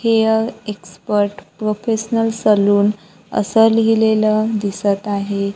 Hair expert professional salon असं लिहिलेलं दिसत आहे.